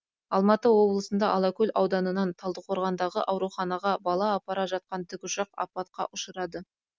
алматы облысында алакөл ауданынан талдықорғандағы ауруханаға бала апара жатқан тікұшақ апатқа ұшырады